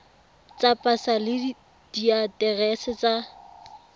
tsa pasa le diaterese tsa